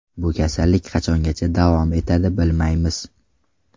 Bu kasallik qachongacha davom etadi, bilmaymiz.